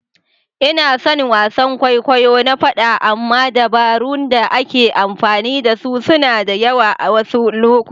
Ina son wasan kwaikwayo na faɗa amma dabarun da ake amfani da su suna da yawa a wasu lokuta.